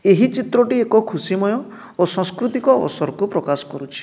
ଏହି ଚିତ୍ରଟି ଏକ ଖୁସିମୟ ଓ ସଂସ୍କୃତିକ ଅବସର କୁ ପ୍ରକାଶ କରୁଛି।